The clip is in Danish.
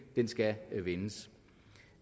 den skal vendes